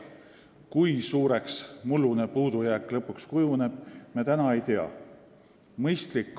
Kui suureks mullune puudujääk kujuneb, me täna ei tea.